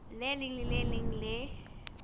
leng le le leng le